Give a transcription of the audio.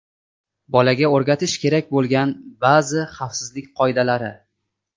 Bolaga o‘rgatish kerak bo‘lgan ba’zi xavfsizlik qoidalari.